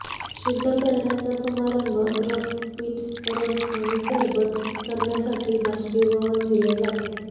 शुध्द करण्याचा समारंभ रस पीठ रस आणि सरबत करण्यासाठी बाष्पीभवन दिले जाते